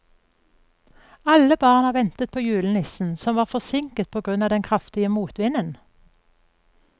Alle barna ventet på julenissen, som var forsinket på grunn av den kraftige motvinden.